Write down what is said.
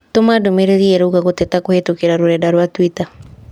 Tũma ndũmĩrĩri ĩrũuga gũteta kũhĩtũkĩra rũrenda rũa tũita